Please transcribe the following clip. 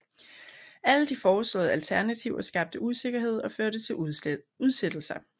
Alle de foreslåede alternativer skabte usikkerhed og førte til udsættelser